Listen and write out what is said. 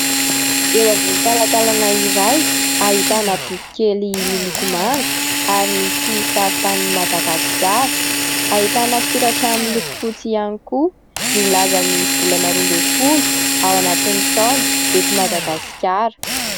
Eo ambony talantalana iray, ahitana boky kely miloko manga ary misy sarin-tanin'i Madagasikara. Ahitana soratra miloko fotsy ihany koa milaza ny volana roa ambin'ny folo ao anatin'ny taona eto Madagasikara.